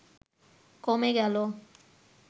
কমে গেল